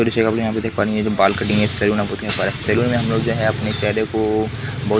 और इस जगह पर यहाँ पे देख पा रहे कि ये जो बाल कटिंग हो रहा है सैलून में हमलोग जो है अपने को --